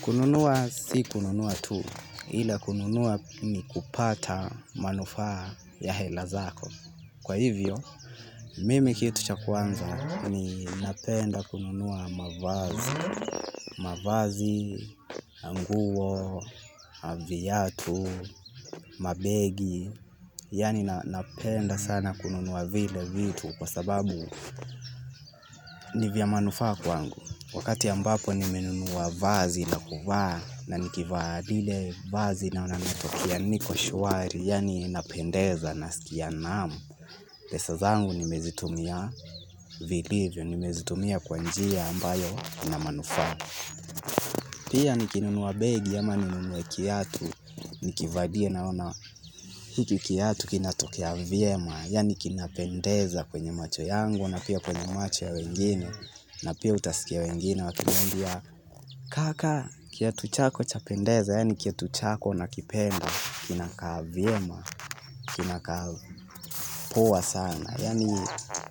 Kununua si kununua tu, ila kununua ni kupata manufaa ya hela zako. Kwa hivyo, mimi kitu cha kwanza ni napenda kununua mavazi, mavazi, na nguo, na viatu, mabegi, yaani napenda sana kununua vile vitu kwa sababu ni vya manufaa kwangu. Wakati ambapo nimenunua vazi la kuvaa na nikivaa lile vazi naona natokea niko shwari yaani napendeza nasikia naam. Pesa zangu nimezitumia vilivyo nimezitumia kwa njia ambayo ina manufaa. Pia nikinunua begi ama ninunue kiatu, nikivalia naona hiki kiatu kinatokea vyema, yaani kinapendeza kwenye macho yangu na pia kwenye macho ya wengine. Na pia utasikia wengine wakiniambia kaka kiatu chako chapendeza. Yaani kiatu chako nakipenda kinakaa vyema kinakaa poa sana. Yaani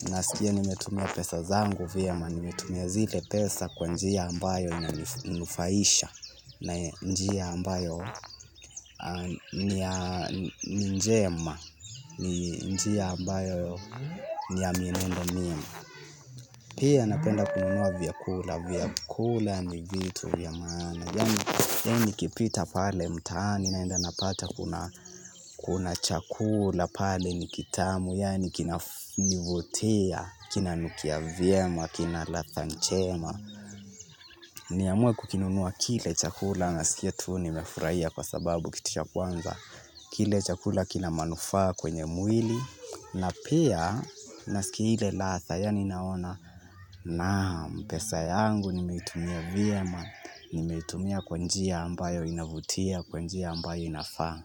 nasikia nimetumia pesa zangu vyema nimetumia zile pesa kwa njia ambayo na inanufaisha na njia ambayo ni njema ni njia ambayo ni ya mienendo miema. Pia napenda kununua vyakula, vyakula ni vitu vya maana. Yaani nikipita pale mtaani naenda napata kuna chakula. Pale ni kitamu, yaani kinanivutia, kinanukia vyema, kina ladha njema niamue kukinunua kile chakula nasikia tu nimefurahia kwa sababu kitu cha kwanza kile chakula kina manufaa kwenye mwili na pia, nasikia ile ladha yaani naona, naam, pesa yangu nimeitumia vyema, nimeitumia kwa njia ambayo inavutia, kwa njia ambayo inafaa.